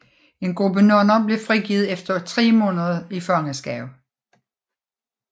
En gruppe nonner bliver frigivet efter tre måneder i fangenskab